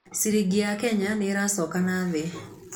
Ciringi ya Kenya nĩ ĩracoka na thĩ.